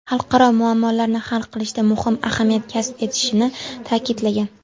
xalqaro muammolarni hal qilishda muhim ahamiyat kasb etishini ta’kidlagan.